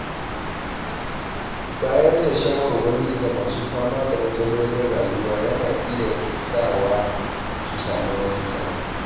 Bayar da shawarwari ga masu fama da matsalolin rayuwa yana iya sawa su samu mafita